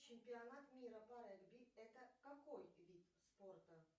чемпионат мира по регби это какой вид спорта